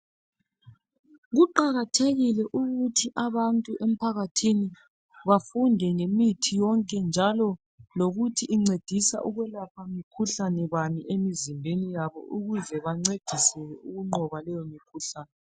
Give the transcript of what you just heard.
Kuqakathekile ukuthi abantu emphakathini bafunde ngemithi yonke njalo lokuthi incedisa ukwelapha mikhuhlane bani emizimbeni yabo ukuze bancediseke ukunqoba leyo mikhuhlane.